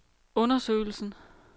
undersøgelsen